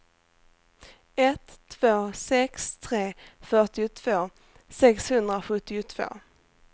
ett två sex tre fyrtiotvå sexhundrasjuttiotvå